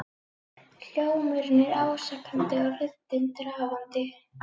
Hljómurinn er ásakandi og röddin drafandi.